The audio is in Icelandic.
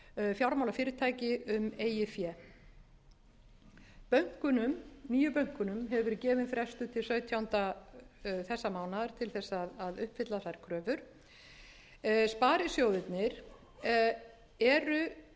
fjármálafyrirtæki um eigið fé nýju bönkunum hefur verið gefinn frestur til sautjándu þessa mánaðar til þess að uppfylla þær kröfur sparisjóðirnir eru í ákveðnu tómarúmi hvað